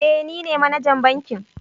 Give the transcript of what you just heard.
Eh nine manajan bankin